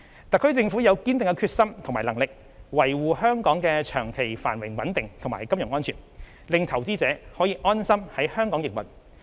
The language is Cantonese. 特區政府有堅定的決心與能力，維護香港的長期繁榮穩定及金融安全，令投資者可以安心在香港營運。